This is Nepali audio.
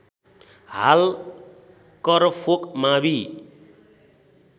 हाल करफोक मावि